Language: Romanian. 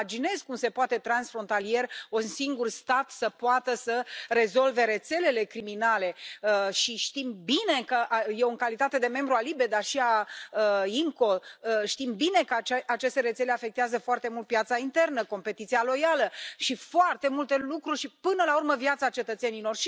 Nu îmi imaginez cum se poate, transfrontalier, ca un singur stat să poată să rezolve rețelele criminale și știm bine că eu, în calitate de membru al LIBE, dar și al IMCO știm bine că aceste rețele afectează foarte mult piața internă, competiția loială și foarte multe lucruri și până la urmă viața cetățenilor.